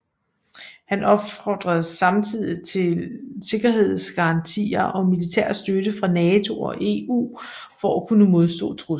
Han opfordrede samtidig til sikkerhedsgarantier og militær støtte fra NATO og EU for at kunne modstå truslen